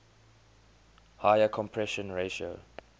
higher compression ratio